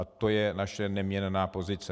A to je naše neměnná pozice.